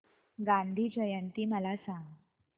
गांधी जयंती मला सांग